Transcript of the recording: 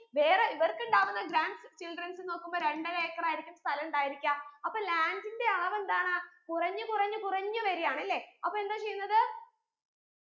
വേറെ ഇവർക്ക് ഉണ്ടാക്കുന്ന grand childrens നോക്കുമ്പോ രണ്ടര ഏകറായിരിക്കും സ്ഥലമുണ്ടായിരിക്ക അപ്പൊ land ന്റെ അളവ് എന്താണ് കുറഞ്ഞു കുറഞ്ഞു കുറഞ്ഞു വരുകയാണല്ലേ അപ്പൊ എന്താ ചെയ്യുന്നത്